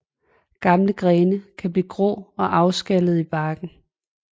Gamle grene kan blive grå og afskallende i barken